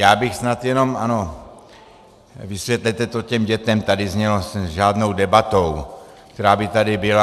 Já bych snad jenom - ano, vysvětlete to těm dětem, tady znělo, s žádnou debatou, která by tady byla.